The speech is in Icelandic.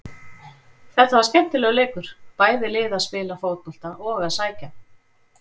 Þetta var skemmtilegur leikur, bæði lið að spila fótbolta og að sækja.